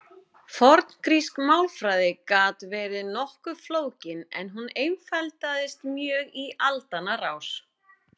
forngrísk málfræði gat verið nokkuð flókin en hún einfaldaðist mjög í aldanna rás